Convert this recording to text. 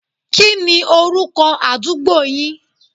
Kí ni orúkọ àdúgbo yin?